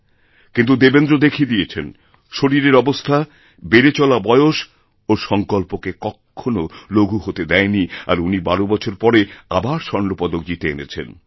কিন্তু দেবেন্দ্র দেখিয়ে দিয়েছেন শরীরের অবস্থা বেড়ে চলা বয়স ওঁরসঙ্কল্পকে কখনও লঘু হতে দেয় নি আর উনি বারো বছর পরে আবার স্বর্ণপদক জিতে এনেছেন